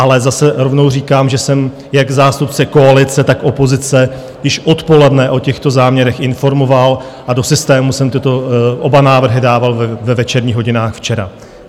Ale zase rovnou říkám, že jsem jak zástupce koalice, tak opozice již odpoledne o těchto záměrech informoval a do systému jsem tyto oba návrhy dával ve večerních hodinách včera.